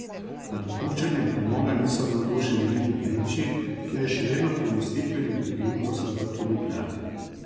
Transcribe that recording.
Nad opuščanjem premoga niso navdušeni niti v Nemčiji, kjer je še vedno premostitveni energent po zaprtju nukleark.